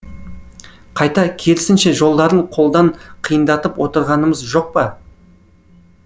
қайта керісінше жолдарын қолдан қиындатып отырғанымыз жоқ па